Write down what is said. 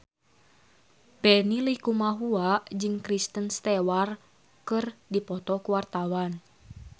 Benny Likumahua jeung Kristen Stewart keur dipoto ku wartawan